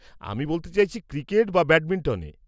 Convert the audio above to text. -আমি বলতে চাইছি, ক্রিকেট বা ব্যাডমিন্টনে?